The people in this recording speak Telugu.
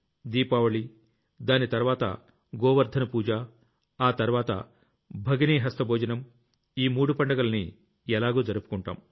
దీపావళి దాని తర్వాత గోవర్థన పూజ ఆ తర్వాత భగినీ హస్త భోజనం ఈ మూడు పండుగల్ని ఎలాగూ జరుపుకుంటాం